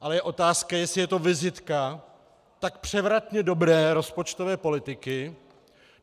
Ale je otázka, jestli je to vizitka tak převratně dobré rozpočtové politiky.